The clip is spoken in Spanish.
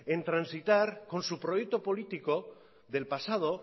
en transitar con su proyecto político del pasado